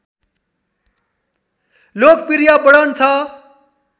लोकप्रिय वर्णन छ